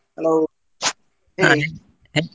Hello .